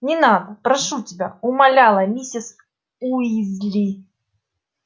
не надо прошу тебя умоляла миссис уизли